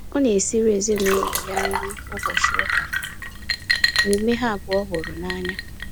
Ọ na esiri ezinaụlọ ya nri ụbọchị ụka, omume ha abụọ hụrụ n'anya